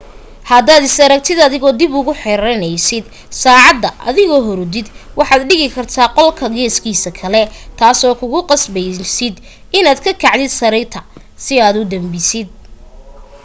haddaad is aragtid adigoo dib ugu xiranaysid saacada adigoo hurudid waxaad dhigi kartaa qolka geeskiisa kale taasoo kugu qasbaysid inaad ka kacdid sariirta si aad u damisid